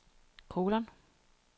kolon